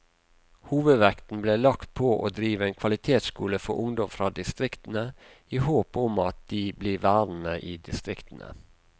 Hovedvekten ble lagt på å drive en kvalitetsskole for ungdom fra distriktene, i håp om at de blir værende i distriktene.